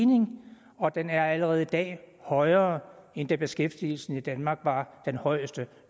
og den er allerede i dag højere end da beskæftigelsen i danmark var den højeste